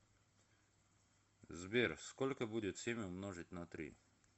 сбер сколько будет семь умножить на три